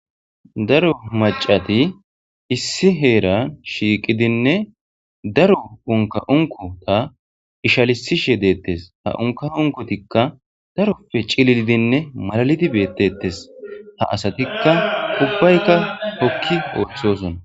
daro macati issi heera shiiqidinne daro unka unko ta ishalisishe deettes ha unka unkotikka darope cililidinne malalidi beettettes ha asatikka ubbaykka hokki ososona